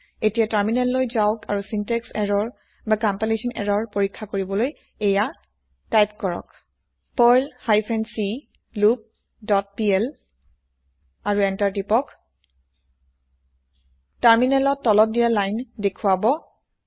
এতিয়া তাৰমিনেল যাওক আৰু চিন্তেক্স এৰৰ না কম্পাইলেচ্যন এৰৰ পৰীক্ষা কৰিবলৈ এইয়া টাইপ কৰক Perl hyphen c loop dot PL আৰু এন্তাৰ টিপক তাৰমিনেলত তলত দিয়া লাইন দেখোৱাব